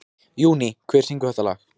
Júní, hver syngur þetta lag?